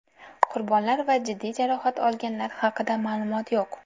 Qurbonlar va jiddiy jarohat olganlar haqida ma’lumot yo‘q.